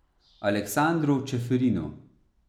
Aleksandru Čeferinu.